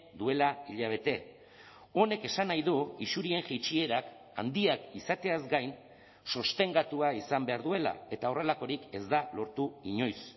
duela hilabete honek esan nahi du isurien jaitsierak handiak izateaz gain sostengatua izan behar duela eta horrelakorik ez da lortu inoiz